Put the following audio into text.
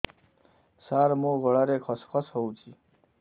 ସାର ମୋ ଗଳାରେ ଖସ ଖସ ହଉଚି